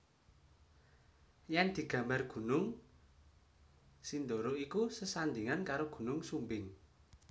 Yen digambar Gunung Sindoro iku sesandingan karo Gunung Sumbing